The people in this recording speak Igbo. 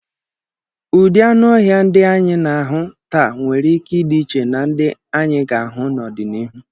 Ụdị anụ ọhịa ndị anyị na-ahụ taa nwere ike ịdị iche na ndị anyị ga-ahụ n’ọdịnihu.